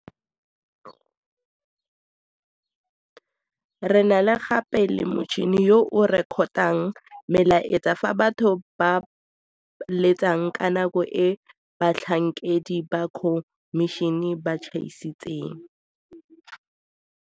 Re na gape le motšhini yo o rekotang melaetsa fa batho ba letsa ka nako e batlhankedi ba khomišene ba tšhaisitseng.